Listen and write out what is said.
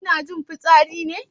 Kuna jin fitsari ne?